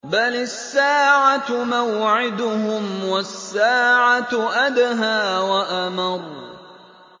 بَلِ السَّاعَةُ مَوْعِدُهُمْ وَالسَّاعَةُ أَدْهَىٰ وَأَمَرُّ